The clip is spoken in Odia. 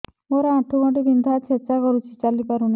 ମୋର ଆଣ୍ଠୁ ଗଣ୍ଠି ବିନ୍ଧା ଛେଚା କରୁଛି ଚାଲି ପାରୁନି